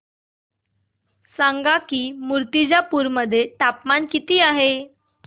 सांगा की मुर्तिजापूर मध्ये तापमान किती आहे